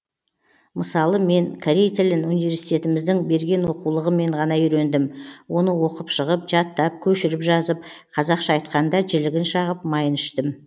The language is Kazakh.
мысалы мен корей тілін университетіміздің берген оқулығымен ғана үйрендім оны оқып шығып жаттап көшіріп жазып қазақша айтқанда жілігін шағып майын іштім